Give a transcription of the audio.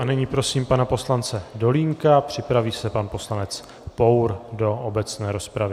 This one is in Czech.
A nyní prosím pana poslance Dolínka, připraví se pan poslanec Pour do obecné rozpravy.